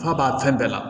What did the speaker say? Kuma b'a fɛn bɛɛ la